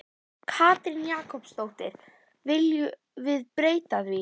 Katrín Jakobsdóttir: Viljum við breyta því?